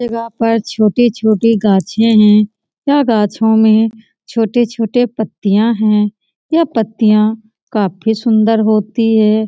इस जगह पर छोटी-छोटी घाछे हैं यह गाछो में छोटी-छोटी पत्तीयां हैं यह पत्तीयां काफी सुंदर होती हैं |